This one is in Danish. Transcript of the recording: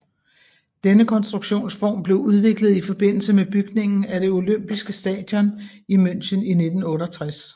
Denne konstruktionsform blev udviklet i forbindelse med bygningen af det olympiske stadion i München i 1968